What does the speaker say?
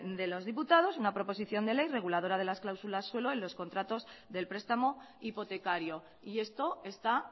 de los diputados una proposición de ley reguladora de las cláusulas suelo en los contratos del prestamo hipotecario y esto está